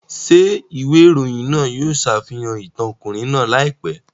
Ṣé ìwé ìròyìn náà yóò ṣàfihàn ìtàn ọkùnrin náà láìpẹ́?